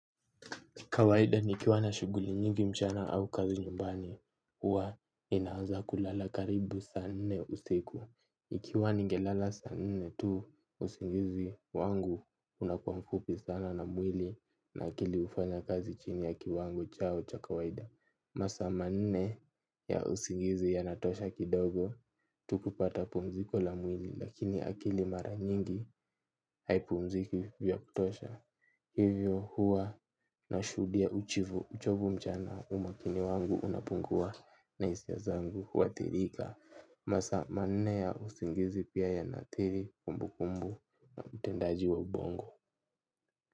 Kawaida nikiwa na shughuli nyingi mchana au kazi nyumbani huwa ninaanza kulala karibu saa nne usiku. Ikiwa ningelala saa nne tu usingizi wangu unakuwa mfupi sana na mwili na akili hufanya kazi chini ya kiwango chao cha kawaida. Masaa manne ya usingizi yanatosha kidogo tu kupata pumziko la mwili lakini akili mara nyingi haipumziki vya kutosha. Hivyo huwa nashuhudia uchovu mchana umakini wangu unapungua na hisia zangu huathirika. Masaa manne ya usingizi pia yanaathiri kumbukumbu na utendaji wa ubongo.